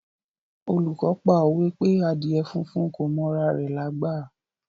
Olùkọ́ pa òwe pé Àdíè funfun kò m'ora rẹ̀ lágbà.